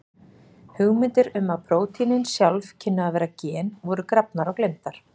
Hugmyndir um að prótínin sjálf kynnu að vera gen voru grafnar og gleymdar.